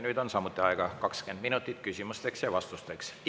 Nüüd on samuti 20 minutit aega küsimusteks ja vastusteks.